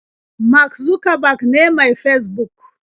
Mark Zuckerberg ne mai Fesbuk